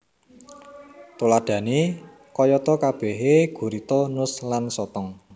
Tuladhané kayatakabehé gurita nus lan sotong